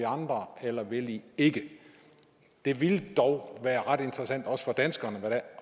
andre eller vil i ikke det ville dog være ret interessant også for danskerne